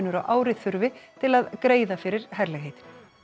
á ári þurfi til að greiða fyrir herlegheitin